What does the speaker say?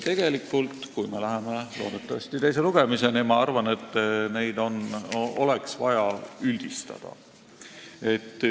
Tegelikult, kui me jõuame teise lugemiseni, loodetavasti, siis ma arvan, et neid asju oleks vaja üldistada.